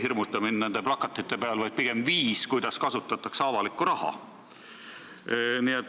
Mitte teie nende plakatite peal ei hirmuta mind, vaid pigem viis, kuidas kasutatakse avalikku raha.